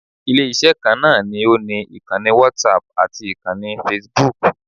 Ilé-iṣẹ́ kan náà ni ó ni ìkannì whatapp ati ìkanni facebook